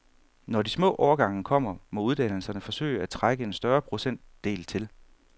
Når de små årgange kommer, må uddannelserne forsøge at trække en større procentdel til.